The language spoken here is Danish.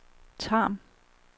Tarm